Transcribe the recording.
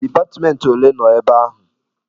Dipatmentị ole nọ ebe ahụ?